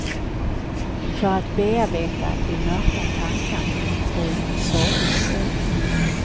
För att bearbeta de mörka tankarna skriver han sånger om henne.